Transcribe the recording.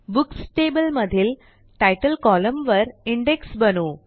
books table मधील तितले column वर इंडेक्स बनवू